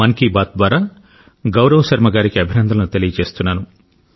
మన్ కీ బాత్ ద్వారా గౌరవ్ శర్మ గారికి అభినందనలు తెలియజేస్తున్నాను